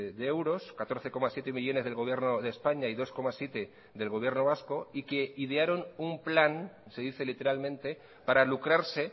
de euros catorce coma siete millónes del gobierno de españa y dos coma siete del gobierno vasco y que idearon un plan se dice literalmente para lucrarse